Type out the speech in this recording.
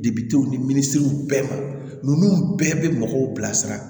ni minisiriw bɛɛ ma ninnu bɛɛ bɛ mɔgɔw bilasira